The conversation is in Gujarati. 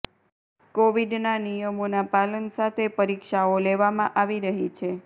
કોવિડના નિયમોના પાલન સાથે પરીક્ષાઓ લેવામાં આવી રહી છે